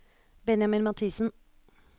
Benjamin Mathisen